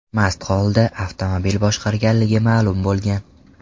mast holda avtomobil boshqarganligi ma’lum bo‘lgan.